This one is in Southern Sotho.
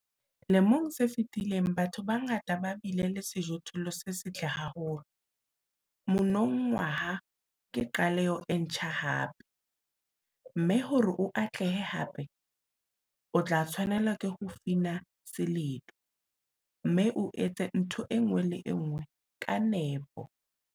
Lemong se fetileng, batho ba bangata ba bile le sejothollo se setle haholo - monongwaha ke qaleho e ntjha hape, mme hore o atlehe hape, o tla tshwanela ho fina seledu, mme o etse ntho e nngwe le e nngwe ka nepo.